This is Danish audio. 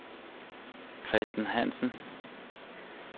Christen Hansen